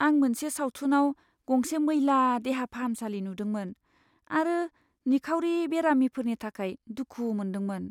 आं मोनसे सावथुनाव गंसे मैला देहा फाहामसालि नुदोंमोन आरो निखावरि बेरामिफोरनि थाखाय दुखु मोनदोंमोन।